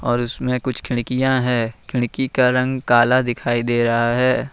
और उसमें कुछ खिड़कियां है खिड़की का रंग काला दिखाई दे रहा है।